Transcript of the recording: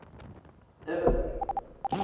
evaton